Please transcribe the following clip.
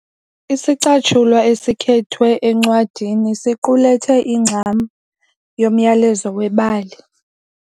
Isicatshulwa esikhethwe encwadini siqulethe ingxam yomyalezo webali.